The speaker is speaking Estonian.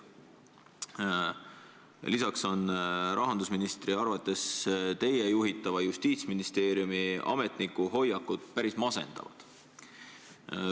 " Lisaks on rahandusministri arvates teie juhitava Justiitsministeeriumi ametniku hoiakud päris masendavad.